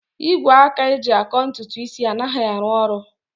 Igwe aka eji akọ ntutu isi anaghị arụ ọrụ